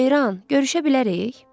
Ceyran, görüşə bilərik?